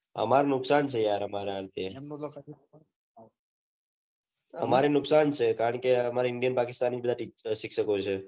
અમર નુકસાન છે યાર અમારા અંતે અમારે નુકસાન છે કારણકે india પાકીસ્તાન ના શિક્ષકો છે